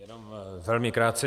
Jenom velmi krátce.